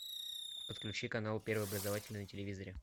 подключи канал первый образовательный на телевизоре